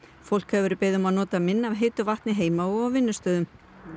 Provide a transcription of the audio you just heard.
fólk hefur verið beðið um að nota minna af heitu vatni heima og á vinnustöðum